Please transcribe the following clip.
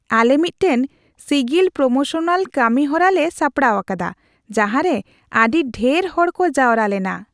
ᱟᱞᱮ ᱢᱤᱫᱴᱟᱝ ᱥᱤᱜᱤᱞ ᱯᱨᱚᱢᱚᱥᱚᱱᱟᱞ ᱠᱟᱹᱱᱤᱦᱚᱨᱟ ᱞᱮ ᱥᱟᱯᱲᱟᱣ ᱟᱠᱟᱫᱟ ᱡᱟᱦᱟᱸᱨᱮ ᱟᱹᱰᱤ ᱰᱷᱮᱨ ᱦᱚᱲ ᱠᱚ ᱡᱟᱣᱨᱟ ᱞᱮᱱᱟ ᱾